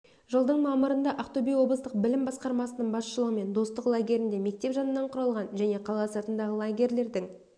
жылдың мамырында ақтөбе облыстық білім басқармасының басшылығымен достық лагерінде мектеп жанынан құрылған және қала сыртындағы лагерьлердің